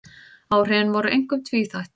Áhrifin voru einkum tvíþætt